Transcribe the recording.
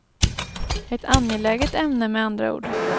Ett angeläget ämne med andra ord.